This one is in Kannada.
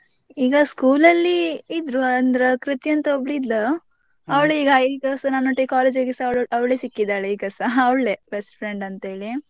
ಈಗ school ಅಲ್ಲಿ ಇದ್ರೂ ಅಂದ್ರೆ ಕೃತಿ ಅಂತ ಒಬ್ಬಳು ಇದ್ಲು ಅವ್ಳು ಈಗ ಈಗಸಾ ನನ್ನೊಟ್ಟಿಗೆ college ಇಗೆಸಾ ಅವ್ಳು ಅವ್ಳೆ ಸಿಕ್ಕಿದ್ದಾಳೆ ಈಗಸಾ ಅವ್ಳೆ best friend ಅಂತ ಹೇಳಿ.